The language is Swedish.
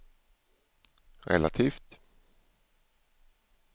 relativt